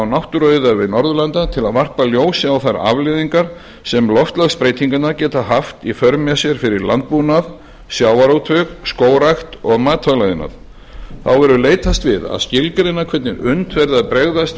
náttúruauðæfi norðurlanda til að varpa ljósi á þær afleiðingar sem loftslagsbreytingarnar geta haft í för með sér fyrir landbúnað sjávarútveg skógrækt og matvælaiðnað þá verður leitast við að skilgreina hvernig unnt verði að bregðast